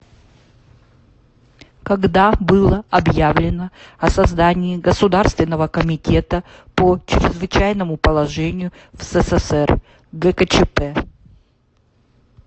когда было объявлено о создании государственного комитета по чрезвычайному положению в ссср гкчп